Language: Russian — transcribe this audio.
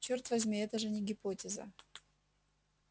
чёрт возьми это же не гипотеза